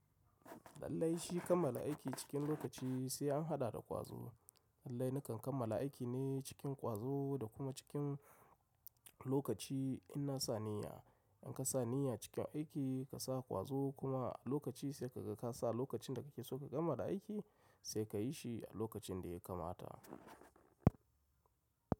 Lallai shi kammala aiki cikin lokaci sai an haɗa da ƙwazo. Lallai na kan kammala aiki ne cikin ƙwazo da kuma cikin lokaci in na sa niyya. In ka sa niyya cikin aiki ka sa ƙwazo kuma a lokaci sai ka ga ka sa lokacin da kake so ka gama da aiki sai ka yi shi a lokacin da ya kamata.